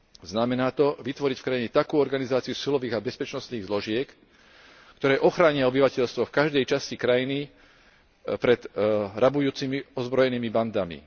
Znamená to vytvoriť v krajine takú organizáciu silových a bezpečnostných zložiek, ktoré ochránia obyvateľstvo v každej časti krajiny pred rabujúcimi ozbrojenými bandami.